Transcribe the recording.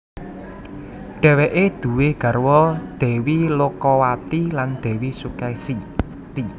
Dhéweké duwé garwa Dèwi Lokawati lan Dèwi Sukèsi